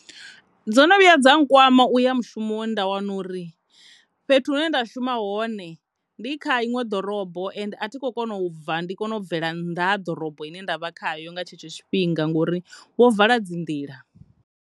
Dzo no vhuya dza nkwana ndi khoya mushumoni nda wana uri fhethu hune nda shuma hone ndi kha iṅwe ḓorobo ende a thi kona u bva ndi bvele nnḓa ha ḓorobo ine nda vha khayo nga tshetsho tshifhinga ngori vho vala dzi nḓila.